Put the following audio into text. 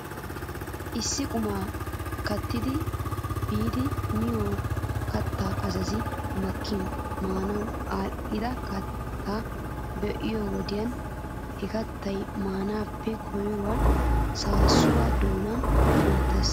Issi quma keettaa biidi miyoo kattaa azazi makkin maanaw aadhdhida kattaa be'iyoo wodiyan he kattay maanaappe koyro saasuwaa doonan kunttes.